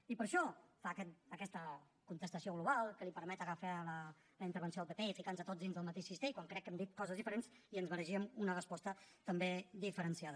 i per això fa aquesta contestació global que li permet agafar la intervenció del pp i ficar nos a tots dins del mateix cistell quan crec que hem dit coses diferents i ens mereixíem una resposta també diferenciada